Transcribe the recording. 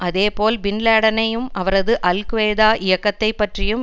அதே போல் பின் லேடனையும் அவரது அல்கொய்தா இயக்கத்தை பற்றியும்